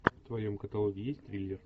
в твоем каталоге есть триллер